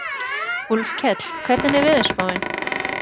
Úlfkell, hvernig er veðurspáin?